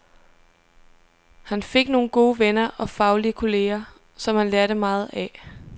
Han fik nogle gode venner og faglige kolleger, som han lærte meget af.